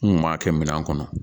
N kun b'a kɛ minɛn kɔnɔ